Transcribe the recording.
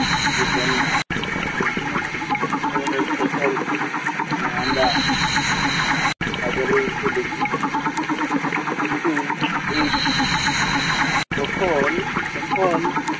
সে রকমই নতুন নতুন ধরনের ফসল আহ আমরা বাজারে উঠতে দেখি। কিন্তু এই ফসল এখন